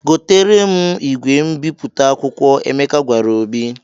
"Goteere m igwe mbipụta akwụkwọ," Emeka gwara Obi.